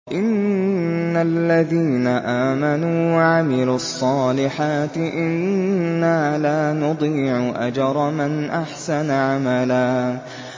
إِنَّ الَّذِينَ آمَنُوا وَعَمِلُوا الصَّالِحَاتِ إِنَّا لَا نُضِيعُ أَجْرَ مَنْ أَحْسَنَ عَمَلًا